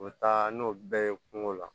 O taa n'o bɛɛ ye kungo la